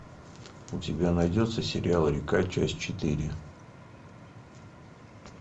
у тебя найдется сериал река часть четыре